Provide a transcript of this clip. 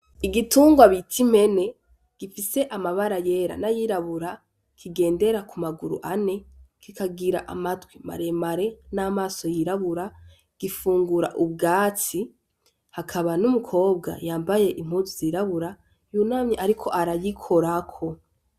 Igitunrwa bit'impene gifise amabara yera n'ayirabura kigendera ku maguru ane, kikagir'amatwi maremare, n'amaso yirabura , gifungura ubwatsi, hakaba n'umukobwa yambaye impuzu zirabura yunamye ariko arayikorako.